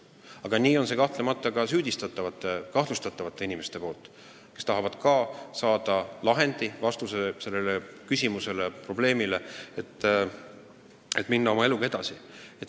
Aga nii on see kahtlemata ka süüdistatavate, kahtlustatavate inimeste puhul, kes tahavad ka õiglast lahendit, et oma eluga edasi minna.